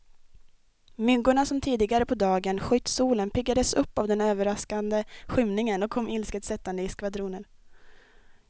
Myggorna som tidigare på dagen skytt solen, piggades upp av den överraskande skymningen och kom ilsket sättande i skvadroner.